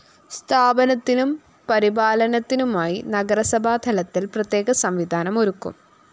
സ്ഥാപനത്തിനും പരിപാലനത്തിനുമായി നഗരസഭാ തലത്തില്‍ പ്രത്യേക സംവിധാനം ഒരുക്കും